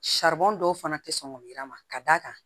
dɔw fana tɛ sɔn k'o yir'a ma ka d'a kan